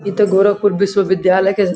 इतो गोरखपुर विश्वविद्यालय के --